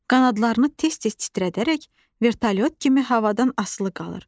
Qanadlarını tez-tez titrədərək vertolyot kimi havadan asılı qalır.